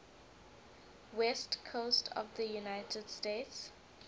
west coast of the united states